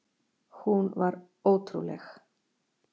Hún var ótrúleg.